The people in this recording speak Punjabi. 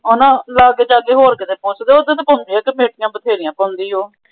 ਹੋਰ ਕਿਤੇ ਪੁੱਛ ਦੇ ਕਮੇਟੀਆਂ ਤਾਂ ਬਥੇਰੀਆਂ ਪਾਉਂਦੀ ਓ।